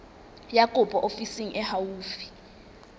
ya kopo ofising e haufi